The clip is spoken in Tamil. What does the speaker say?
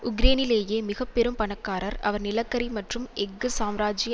உக்ரேனிலேயே மிக பெரும் பணக்காரர் அவர் நிலக்கரி மற்றும் எஃகு சாம்ராஜிய